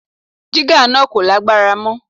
Jígà náà kò lágbára mọ́.